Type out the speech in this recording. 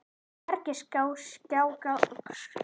Hvergi sá ég skjáglugga á baðstofum.